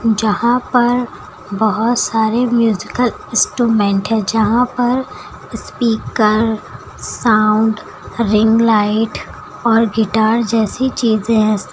यहां पर बहुत सारे म्यूजिकल इंस्ट्रूमेंट है यहां पर स्पीकर साउंड रिंग लाइट और गिटार जैसी चीजें हैं।